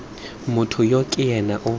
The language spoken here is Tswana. motho yo ke ena yo